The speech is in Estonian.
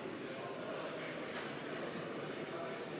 Kohaloleku kontroll